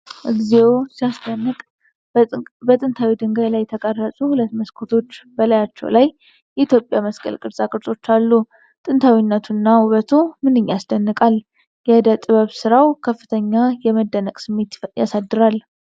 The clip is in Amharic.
እግዚኦ ሲያስደንቅ! በጥንታዊ ድንጋይ ላይ የተቀረጹ ሁለት መስኮቶች ። በላያቸው ላይ የኢትዮጵያ መስቀል ቅርጻቅርጾች አሉ። ጥንታዊነቱና ውበቱ ምንኛ ያስደንቃል። የእደ ጥበብ ስራው ከፍተኛ የመደነቅ ስሜት ያሳድራል።